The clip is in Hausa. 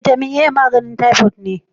Bitamin A maganin typoid ne.